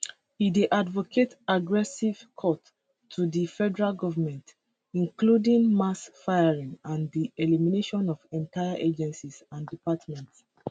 e dey advocate aggressive cuts to di federal govment including mass firings and di eliminations of entire agencies and departments